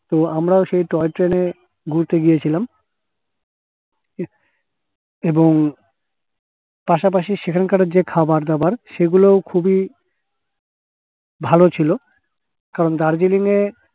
এবং আমরাও সেই toy train এ ঘুরতে গিয়েছিলাম এবং পাশাপাশি সেখানকার যে খাবার দাবার সেগুলোও খুবই ভালো ছিল কারণ দার্জিলিং এ